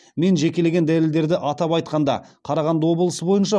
мен жекелеген дәлелдердің атап айтқанда қарағанды облысы бойынша